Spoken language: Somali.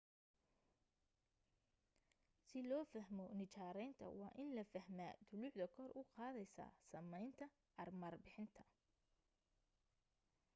si loo fahmo nijaaraynta waa in la fahmaa dulucda kor u qaadaysa samaynta armar bixinta